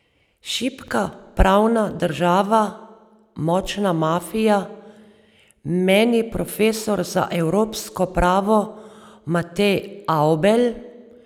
Šibka pravna država, močna mafija, meni profesor za evropsko pravo Matej Avbelj.